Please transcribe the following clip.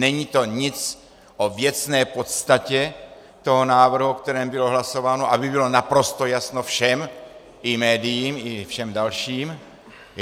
Není to nic o věcné podstatě toho návrhu, o kterém bylo hlasováno, aby bylo naprosto jasno všem, i médiím, i všem dalším.